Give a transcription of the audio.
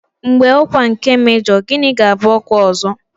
Mgbe ọkwa nke mejọ, gịnị ga-abụ ọkwa ọzọ?